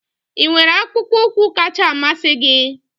ị nwere akpụkpọ ụkwụ kacha mmasị gị?